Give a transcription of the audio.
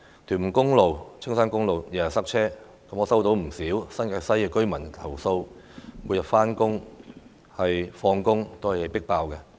屯門公路、青山公路天天塞車，我接獲不少新界西居民投訴，每天上下班期間的車廂總是"迫爆"的。